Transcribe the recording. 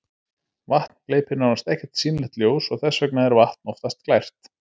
vatn gleypir nánast ekkert sýnilegt ljós og þess vegna er vatn oftast glært